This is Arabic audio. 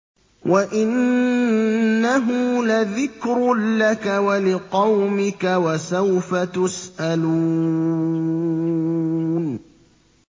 وَإِنَّهُ لَذِكْرٌ لَّكَ وَلِقَوْمِكَ ۖ وَسَوْفَ تُسْأَلُونَ